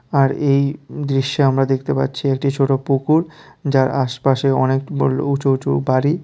আর এই দৃশ্যে আমরা দেখতে পাচ্ছি একটি ছোট পুকুর যার আশপাশে অনেক বড়ল উঁচু উঁচু বাড়ি।